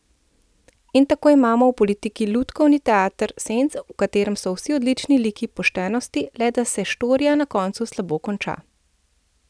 In tako imamo v politiki lutkovni teater senc, v katerem so vsi odlični liki poštenosti, le da se štorija na koncu slabo konča.